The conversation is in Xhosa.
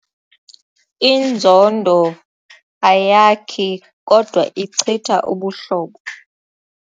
Inzondo ayakhi kodwa ichitha ubuhlobo.